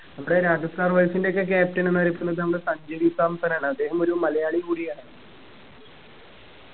നമ്മുടെ രാജസ്ഥാൻ royals ന്റെയൊക്കെ captain എന്നറിയപ്പെടുന്നത് നമ്മുടെ സഞ്ജു V സാംസൺ ആണ് അദ്ദേഹം ഒരു മലയാളിയും കൂടിയാണ്